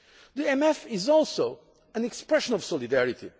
jobs. The MFF is also an expression of solidarity.